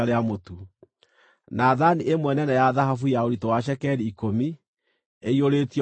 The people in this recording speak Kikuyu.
na thaani ĩmwe nene ya thahabu ya ũritũ wa cekeri ikũmi, ĩiyũrĩtio ũbumba;